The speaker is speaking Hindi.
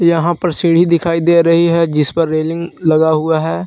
यहां पर सीढ़ी दिखाई दे रही है जिस पर रेलिंग लगा हुआ है।